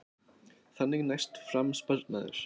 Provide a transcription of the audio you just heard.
Þannig næst fram sparnaður